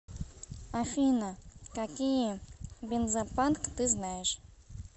афина какие бензопанк ты знаешь